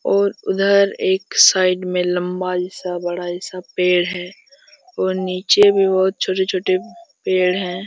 और उधर एक साइड में लंबा सा बड़ा सा पेड़ है और निचे भी बहुत छोटे-छोटे पेड़ है।